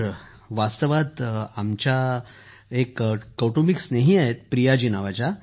sir वास्तवात आमच्या एक कौटुंबिक मित्र आहेत प्रिया जी